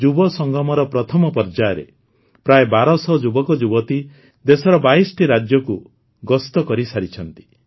ଯୁବସଙ୍ଗମର ପ୍ରଥମ ପର୍ଯ୍ୟାୟରେ ପ୍ରାୟ ୧୨୦୦ ଯୁବକଯୁବତୀ ଦେଶର ୨୨ଟି ରାଜ୍ୟକୁ ଗସ୍ତ କରିସାରିଛନ୍ତି